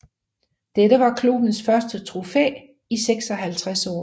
Dette var klubbens første trofæ i 56 år